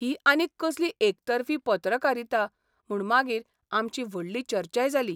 ही आनीक कसली एकतर्फी पत्रकारिता म्हूण मागीर आमची व्हडली चर्चाय जाली.